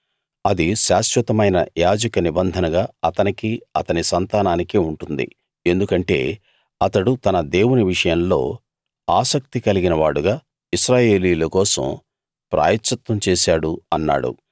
అది శాశ్వతమైన యాజక నిబంధనగా అతనికీ అతని సంతానానికీ ఉంటుంది ఎందుకంటే అతడు తన దేవుని విషయంలో ఆసక్తి కలిగిన వాడుగా ఇశ్రాయేలీయుల కోసం ప్రాయశ్చిత్తం చేశాడు అన్నాడు